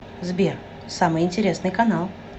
сбер самый интересный канал